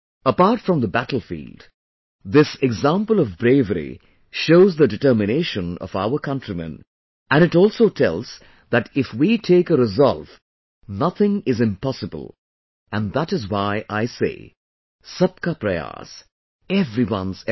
Apart from the battlefield, this example of bravery shows the determination of our countrymen, and it also tells that if we take a resolve, nothing is impossible and that is why I say 'Sabka Prayas'...everyone's effort